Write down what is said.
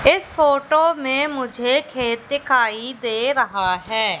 इस फोटो में मुझे खेत दिखाई दे रहा है।